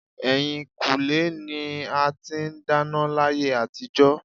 Ẹ̀yìnkùlé ni a ti ń dáná láyé àtijó.